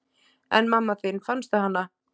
En mamma þín, fannstu hana?